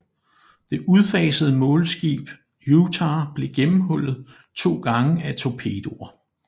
Det udfasede målskib Utah blev gennemhullet to gange af torpedoer